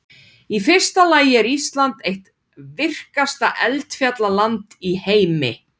Í fyrsta lagi er Ísland eitt virkasta eldfjallaland í heimi.